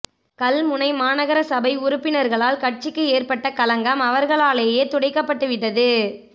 கல்முனை மாநகர சபை உறுப்பினர்களால் கட்சிக்கு ஏற்பட்ட களங்கம் அவர்களாலேயே துடைக்கப்பட்டுவிட்டது